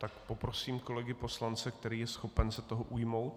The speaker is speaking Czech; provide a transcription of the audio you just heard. Tak poprosím kolegy poslance, kdo je schopen se toho ujmout?